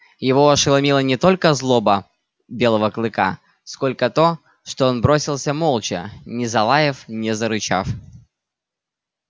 его ошеломила не только злоба белого клыка сколько то что он бросился молча не залаяв не зарычав